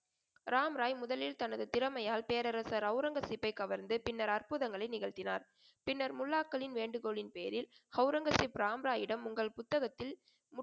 ராமராய் முதலில் தனது திறமையால் பேரரசர் ஒளரங்கசீப்பைக் கவர்ந்து பின்னர் அற்ப்புதங்களை நிகழ்த்தினார். பின்னர் முல்லாக்களின் வேண்டுகோலின் பேரில் ஒளரங்கசீப் ராம்ராயிடம் உங்கள் புத்தகத்தில்